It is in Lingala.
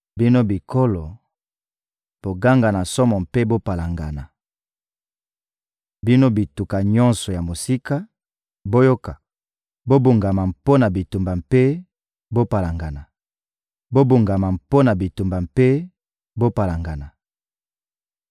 Bino bikolo, boganga na somo mpe bopalangana! Bino bituka nyonso ya mosika, boyoka! Bobongama mpo na bitumba mpe bopalangana! Bobongama mpo na bitumba mpe bopalangana!